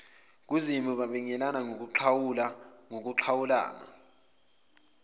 kuzimu babingelelana baxhawulana